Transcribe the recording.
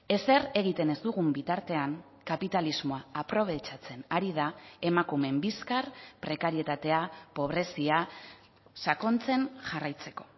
ezer egiten ez dugun bitartean kapitalismoa aprobetxatzen ari da emakumeen bizkar prekarietatea pobrezia sakontzen jarraitzeko